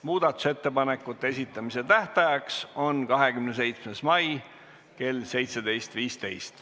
Muudatusettepanekute esitamise tähtaeg on 27. mai kell 17.15.